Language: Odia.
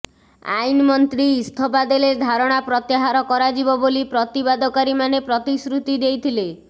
ଆଇନ୍ମନ୍ତ୍ରୀ ଇସ୍ତଫା ଦେଲେ ଧାରଣା ପ୍ରତ୍ୟାହାର କରାଯିବ ବୋଲି ପ୍ରତିବାଦକାରୀମାନେ ପ୍ରତିଶ୍ରୁତି ଦେଇଥିଲେ